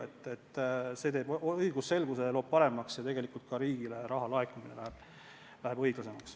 Muudatus suurendab õigusselgust ja tegelikult läheb ka riigile raha laekumine õiglasemaks.